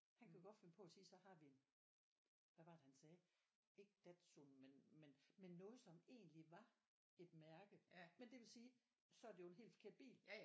Han kan godt finde på at sige så har vi hvad var det han sagde ikke Dazu men men men noget som egentlig var et mærke men det vil sige så er det jo en helt forkert bil